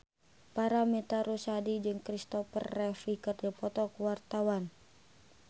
Paramitha Rusady jeung Christopher Reeve keur dipoto ku wartawan